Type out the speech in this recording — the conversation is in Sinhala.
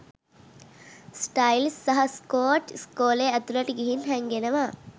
ස්ටයිල්ස් සහ ස්කොට් ඉස්කෝලේ ඇතුලට ගිහිං හැංගෙනවා.